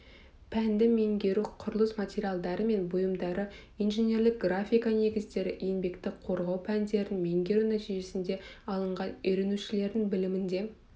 пәнді меңгеру құрылыс материалдары мен бұйымдары инженерлік графика негіздері еңбекті қорғау пәндерін меңгеру нәтижесінде алынған үйренушілердің білімінде